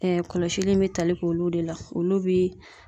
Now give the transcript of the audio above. kɔlɔsili in bɛ tali k'olu de la olu bi.